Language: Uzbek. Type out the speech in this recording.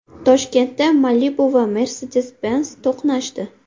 Toshkentda Malibu va Mercedes-Benz to‘qnashdi .